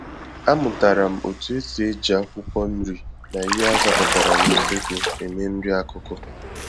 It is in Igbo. .Amụtara m otu esi eji akwụkwọ-nri, na ihe azapụtara n'usekwu eme nri-akụkụ